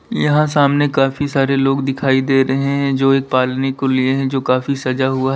यहाँ सामने काफी सारे लोग दिखाई दे रहे हैं जो एक पालने को लिए हैं जो काफी सजा हुआ--